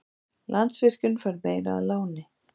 Landsvirkjun fær meira að láni